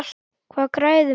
Hvað græðir maður?